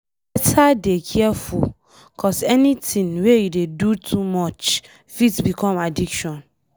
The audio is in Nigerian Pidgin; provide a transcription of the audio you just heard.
Beta dey careful cos anything wey you dey do too much fit become addiction.